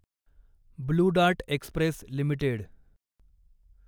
blue dart express limited